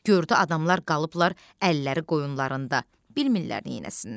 Gördü adamlar qalıblar əlləri qoyunlarında, bilmirlər neyləsinlər.